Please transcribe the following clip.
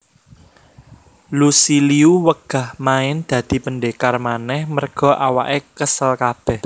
Lucy Liu wegah main dadi pendekar maneh merga awake kesel kabeh